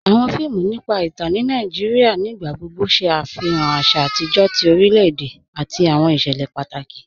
Awọn fíìmù nípa ìtàn ní Nàìjíríà nígbàgbọ̀gbọ̀ ṣé afihàn àṣà àtijọ tí orílẹ̀-èdè àti awọn iṣẹlẹ̀ pátákì.